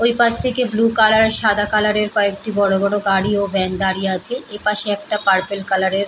ওই পাশ থেকে বুলু কালার - এর আর সাদা কালার - এর কয়েকটি বড় বড় গাড়ি ও ভ্যান দাঁড়িয়ে আছে এইপাশে একটা পার্পল কালার - এর --